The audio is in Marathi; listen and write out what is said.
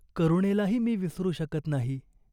करुणेलाही मी विसरू शकत नाही.